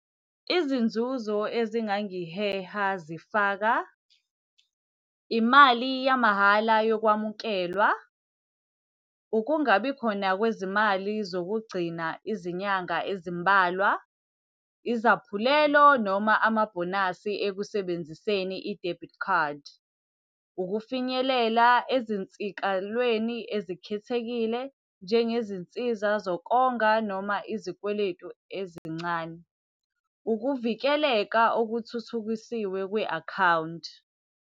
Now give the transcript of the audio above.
Izinzuzo ezingangiheha zifaka imali yamahhala yokwamukelwa, ukungabikhona kwezimali zokugcina izinyanga ezimbalwa, izaphulelo noma amabhonasi ekusebenziseni i-debit card. Ukufinyelela ezinsikalweni ezikhethekile, njengezinsiza zokonga noma izikweletu ezincane. Ukuvikeleka okuthuthukiswe kwe-akhawunti.